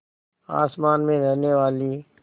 आसमान में रहने वाली